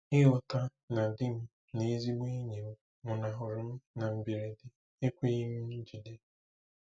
Ịghọta na di m na ezigbo enyi m nwụnahụrụ m na mberede ekweghi m ijigide.